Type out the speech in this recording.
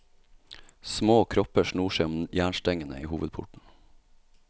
Små kropper snor seg om jernstengene i hovedporten.